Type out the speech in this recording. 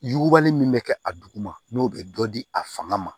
Yugubali min bɛ kɛ a duguma n'o bɛ dɔ di a fanga ma